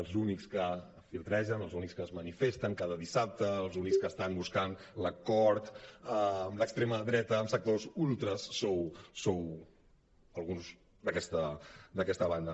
els únics que flirtegen els únics que es manifesten cada dissabte els únics que estan buscant l’acord amb l’extrema dreta amb sectors ultres sou alguns d’aquesta banda